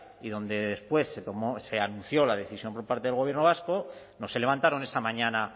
y donde después se anunció la decisión por parte del gobierno vasco no se levantaron esa mañana